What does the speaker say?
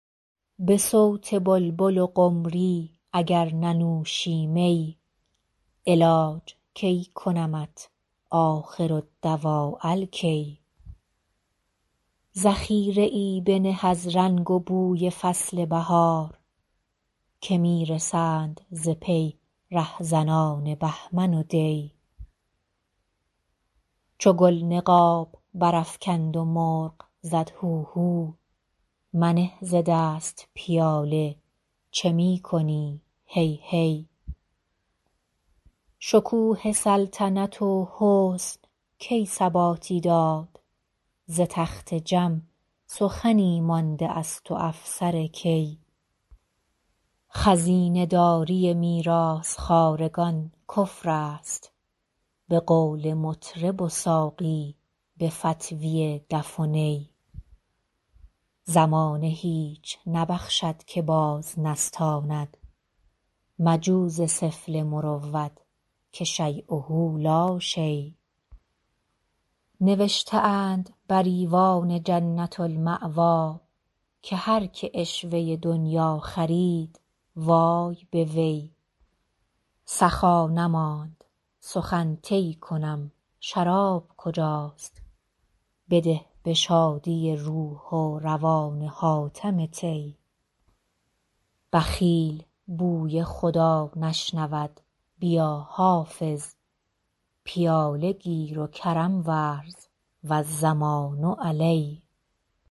به صوت بلبل و قمری اگر ننوشی می علاج کی کنمت آخرالدواء الکی ذخیره ای بنه از رنگ و بوی فصل بهار که می رسند ز پی رهزنان بهمن و دی چو گل نقاب برافکند و مرغ زد هوهو منه ز دست پیاله چه می کنی هی هی شکوه سلطنت و حسن کی ثباتی داد ز تخت جم سخنی مانده است و افسر کی خزینه داری میراث خوارگان کفر است به قول مطرب و ساقی به فتویٰ دف و نی زمانه هیچ نبخشد که باز نستاند مجو ز سفله مروت که شییه لا شی نوشته اند بر ایوان جنة الماویٰ که هر که عشوه دنییٰ خرید وای به وی سخا نماند سخن طی کنم شراب کجاست بده به شادی روح و روان حاتم طی بخیل بوی خدا نشنود بیا حافظ پیاله گیر و کرم ورز و الضمان علی